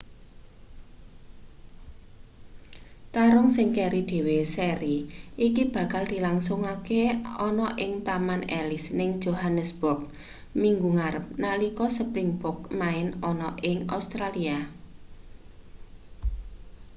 tarung sing keri dhewe seri iki bakal dilangsungke ana ing taman ellis ning johannesburg minggu ngarep nalika springboks main ana ing australia